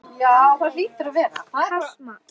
Kalt mat?